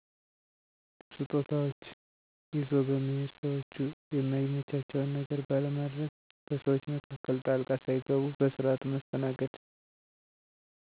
ስጦታዎች ይዞ በመሔድ፣ ሰዎቹ የማይመቻቸውን ነገር ባለማድግ፣ በሰዎች መካከል ጣልቃ ሣይገቡ በስርዓቱ መስተናገድ።